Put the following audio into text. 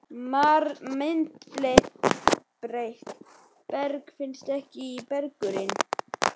Myndbreytt berg finnst ekki í berggrunni